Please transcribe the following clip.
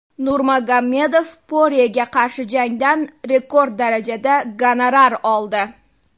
Nurmagomedov Poryega qarshi jangdan rekord darajada gonorar oldi.